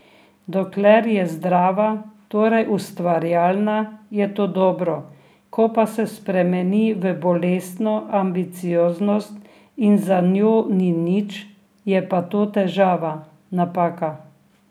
Dokler je zdrava, torej ustvarjalna, je to dobro, ko pa se spremeni v bolestno ambicioznost in za njo ni nič, je pa to težava, napaka.